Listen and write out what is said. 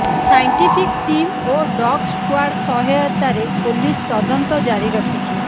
scientific team ଓ dog squad ସହାୟତାରେ police ତଦନ୍ତ ଜାରିରଖିଛି